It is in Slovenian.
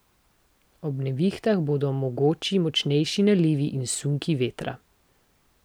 Ob nevihtah bodo mogoči močnejši nalivi in sunki vetra.